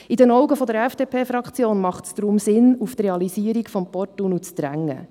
In den Augen der FDP-Fraktion macht es deshalb Sinn, auf die Realisierung des Porttunnels zu drängen.